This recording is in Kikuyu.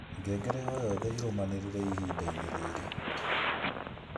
ngengere o nyothe ĩrũmanĩrĩire ihinda-inĩ rĩrĩ